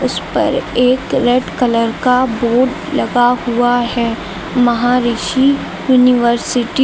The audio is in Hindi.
इसपर एक रेड कलर का बोर्ड लगा हुआ है महारिषी यूनिवर्सिटी --